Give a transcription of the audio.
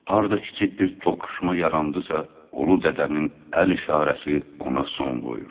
Harda kiçik bir toqquşma yarandısa, ulu dədənin əl işarəsi ona son qoyurdu.